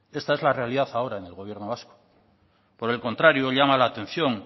esta es la realidad ahora en el gobierno vasco por el contrario llama la atención